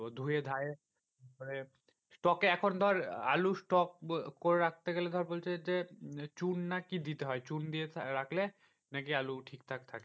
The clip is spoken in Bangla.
ধুয়ে ধায়ে মানে stock এ এখন ধর আলুর stock করে রাখতে গেলে ধর বলছে যে, চুন না কি দিতে হয়। চুন দিয়ে রাখলে নাকি আলু ঠিক ঠাক থাকে।